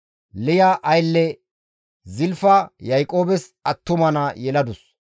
Liya aylle Zilfa Yaaqoobes attuma naa yeladus.